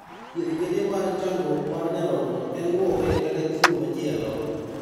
Thieth kende mar chandruok mar nyarogno en luoke kata chiwo machielo